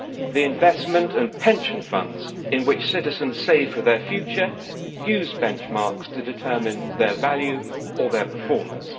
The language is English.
The investment and pension funds in which citizens save for their future use benchmarks to determine their value or their performance.